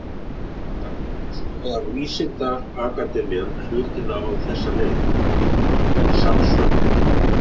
Sem sagt, skoðar vísindaakademían hlutina á þessa leið, í samsvörun.